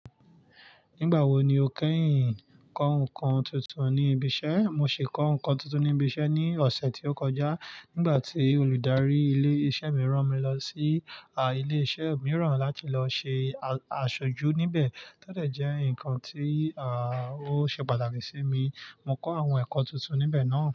Nígbà wo ni o kẹ́yìn kọ́ nǹkan tuntun ní ibi iṣẹ́? Mo ṣe kọ́ nǹkan tuntun ní ibi iṣẹ́ ní ọ̀sẹ̀ tó kọjá nígbà tí olùdarí ilé iṣẹ́ mi rán mi lọ sí, à, ilé iṣẹ́ mìíràn láti lọ ṣe, à, aṣojú níbẹ̀. Tọ́ dọ̀ jẹ́ nǹkan tí, à, ó ṣe pàtàkì sí mi. Mo kọ́ àwọn ẹ̀kọ́ tuntun níbẹ̀ náà.